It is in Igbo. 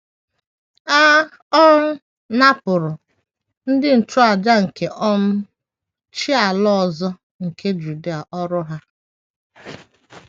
A um napụrụ ndị nchụàjà nke um chi ala ọzọ nke Juda ọrụ ha.